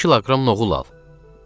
İki kiloqram noğul al.